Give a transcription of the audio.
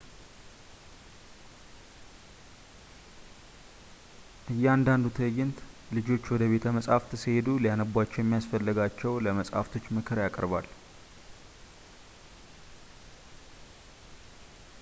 እያንዳንዱ ትዕይንት ልጆች ወደ ቤተ መጽሀፍት ሲሄዱ ሊያነቧቸው የሚያስፈልጋቸው ለመጽሀፍቶች ምክርን ያቀርባል